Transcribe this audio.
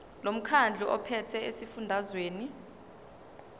lomkhandlu ophethe esifundazweni